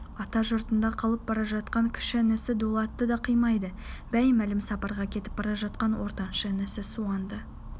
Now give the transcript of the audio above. ата жұртында қалып бара жатқан кіші інісі дулатты да қимайды беймәлім сапарға кетіп бара жатқан ортаншы інісі суанды